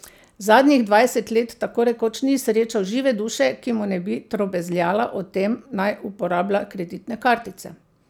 Zadnjih dvajset let tako rekoč ni srečal žive duše, ki mu ne bi trobezljala o tem, naj uporablja kreditne kartice.